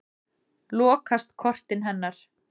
Lokast kortin hennar.